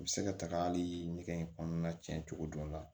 U bɛ se ka taga hali ɲɛgɛn in kɔnɔna tiɲɛ cogo dɔ la